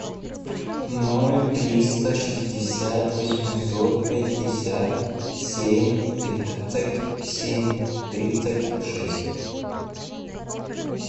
ноль триста шестьдесят восемьсот пятьдесят семь тридцать семь тридцать шесть